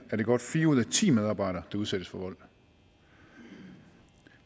er det godt fire ud af ti medarbejdere der udsættes for vold